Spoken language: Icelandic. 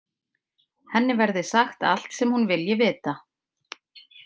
Henni verði sagt allt sem hún vilji vita.